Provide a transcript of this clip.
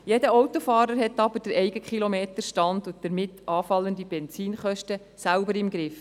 Jeder Autofahrer hat aber den eigenen Kilometerstand und damit anfallende Benzinkosten selbst im Griff.